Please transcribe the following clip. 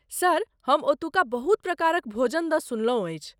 Sir, हम ओतुका बहुत प्रकारक भोजन द सुनलहुँ अछि।